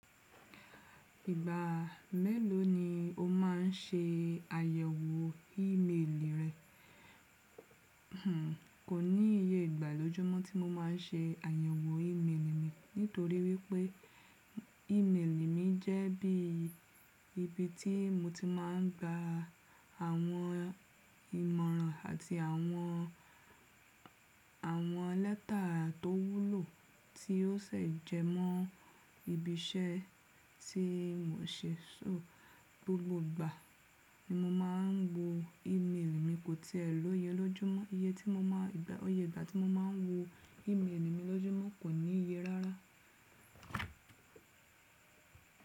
Ìgbà mélòó ni o má ń se àyẹ̀wò ímeèlì rẹ? Kò níye ìgbà lójúmọ́ tí mo má ń se àyẹ̀wò ímeèlì mi nítorí wípé ímeèlì mi jẹ́ bí ibi tí mo ti má ń gba àwọn ìmọ̀ràn àti àwọn, àwọn lẹ́tà tó wúlò tí ó sè jẹ mọ́ ibi iṣẹ́ tí mò ń ṣe. So gbogbo ìgbà ni mo má ń wo ímeèlì mi, kò tiẹ̀ lọ́ye lójúmọ́. Iye tí mo má, ìgbà, ọyẹ́ ìgbà tí mo má ń wo ímeèlì mi lójúmọ́ kò níye rárá.